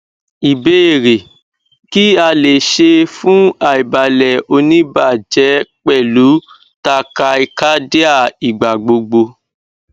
ìbéèrè kí a le ṣe fun aibalẹ onibaje pẹlu tachycardia igbagbogbo